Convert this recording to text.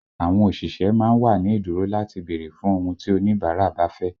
Àwọn òṣìṣẹ́ má ń wà ní ìdúró láti bèrè fún ohun tí oníbàárà bá fẹ́